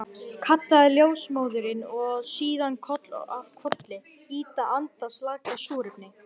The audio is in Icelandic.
kallaði ljósmóðirin, og síðan koll af kolli, ýta anda slaka súrefni.